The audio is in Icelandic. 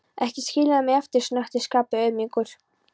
Ekki skilja mig eftir, snökti Skapti auðmjúkur.